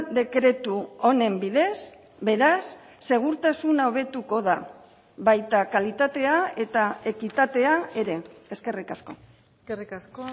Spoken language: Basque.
dekretu honen bidez beraz segurtasuna hobetuko da baita kalitatea eta ekitatea ere eskerrik asko eskerrik asko